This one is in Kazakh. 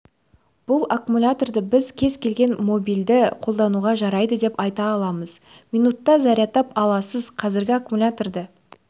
бұл аккумуляторды біз кез келген мобильді қолдануға жарайды деп айта аламыз минутта зарядтап аласыз қазіргі аккумуляторды